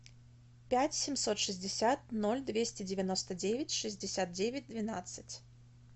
пять семьсот шестьдесят ноль двести девяносто девять шестьдесят девять двенадцать